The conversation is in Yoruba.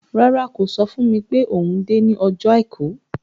Rárá, kò sọ fún mi pé òun dé ní ọjọ́ Àìkú.